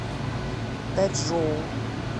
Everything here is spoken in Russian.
дачжоу